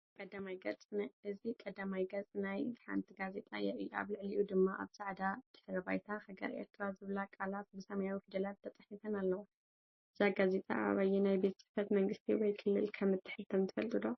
እዚ ቀዳማይ ገጽ ናይ ሓንቲ ጋዜጣ የርኢ። ኣብ ልዕሊኡ ድማ ኣብ ጻዕዳ ድሕረ ባይታ “ሃገር ኤርትራ” ዝብላ ቃላት ብሰማያዊ ፊደላት ተጻሒፈን ኣለዋ። እዛ ጋዜጣ ኣብ ኣየናይ ቤት ጽሕፈት መንግስቲ ወይ ክልል ከም እትሕተም ትፈልጡ ዶ?